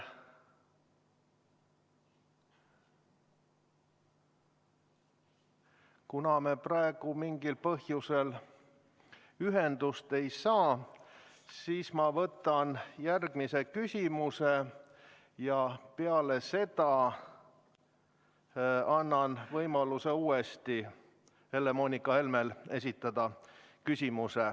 Kuna me praegu mingil põhjusel ühendust ei saa, siis ma võtan järgmise küsimuse ja peale seda annan uuesti Helle-Moonika Helmele võimaluse esitada küsimus.